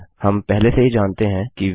हम पहले से ही जानते हैं कि वे हैं